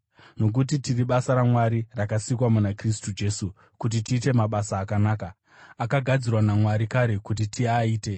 Nokuti tiri basa raMwari, rakasikwa muna Kristu Jesu kuti tiite mabasa akanaka, akagadzirwa naMwari kare kuti tiaite.